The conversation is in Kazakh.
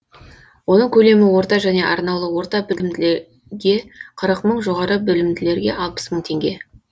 оның көлемі орта және арнаулы орта білімділерге қырық мың жоғары білімділерге алпыс мың теңге